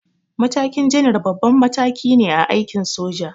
Matakin janar babban mataki ne a aikin soja.